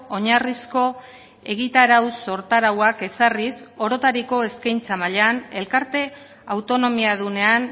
oinarrizko egitarau sortarauak ezarriz orotariko eskaintza mailan elkarte autonomiadunean